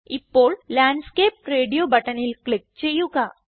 ഇപ്പോൾ landscape radio ബട്ടണിൽ click ചെയ്യുക